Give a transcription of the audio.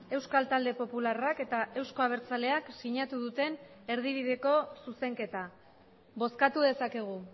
euskal talde popularrak eta euzko abertzaleak sinatu duten erdibideko zuzenketa bozkatu dezakegu